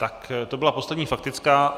Tak to byla poslední faktická.